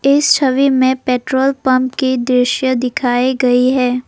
इस छवि में पेट्रोल पंप की दृश्य दिखाई गई है।